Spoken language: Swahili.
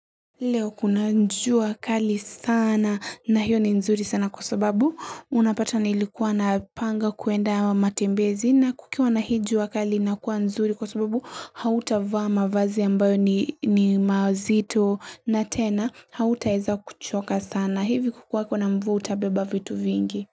Leo kuna jua kali sana na hiyo ni nzuri sana kwa sababu unapata nilikuwa napanga kuenda matembezi na kukiwa na hii jua kali inakua nzuri kwa sababu hautavaa mavazi ambayo ni mazito na tena hautaweza kuchoka sana hivi kukiwa kuna mvua utabeba vitu vingi.